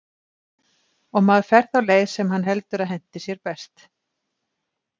Og maður fer þá leið, sem hann heldur að henti sér best.